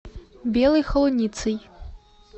белой холуницей